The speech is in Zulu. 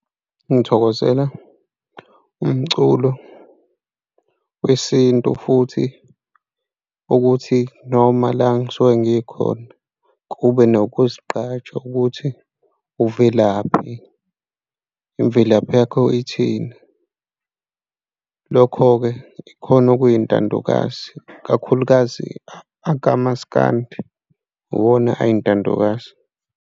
Ngithokozela umculo wesintu futhi ukuthi noma la ngisuke ngikhona, kube nokuzigqaja ukuthi uvelaphi? Imvelaphi yakho ithini? Lokho-ke ikhona okuyintandokazi ikakhulukazi akamaskandi, iwona eyintandokazi.